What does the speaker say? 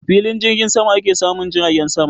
A filin jirgin sama ake samun jiragen sama